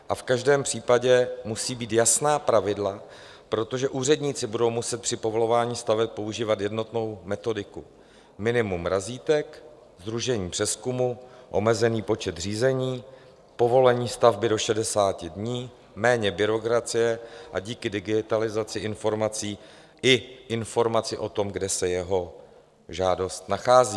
A v každém případě musí být jasná pravidla, protože úředníci budou muset při povolování staveb používat jednotnou metodiku: minimum razítek, sdružení přezkumu, omezený počet řízení, povolení stavby do 60 dní, méně byrokracie a díky digitalizaci informací i informaci o tom, kde se jeho žádost nachází.